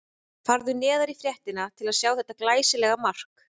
Farðu neðar í fréttina til að sjá þetta glæsilega mark.